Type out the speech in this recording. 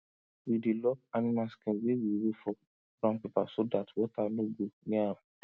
we dey lock animal skin wey we roll for brown paper so dat water no go near am